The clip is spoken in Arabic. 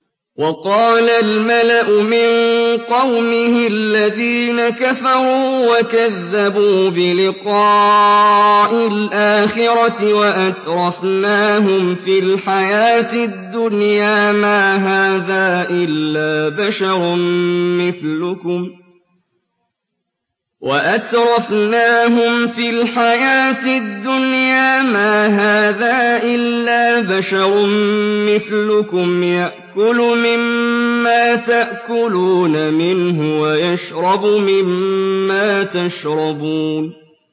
وَقَالَ الْمَلَأُ مِن قَوْمِهِ الَّذِينَ كَفَرُوا وَكَذَّبُوا بِلِقَاءِ الْآخِرَةِ وَأَتْرَفْنَاهُمْ فِي الْحَيَاةِ الدُّنْيَا مَا هَٰذَا إِلَّا بَشَرٌ مِّثْلُكُمْ يَأْكُلُ مِمَّا تَأْكُلُونَ مِنْهُ وَيَشْرَبُ مِمَّا تَشْرَبُونَ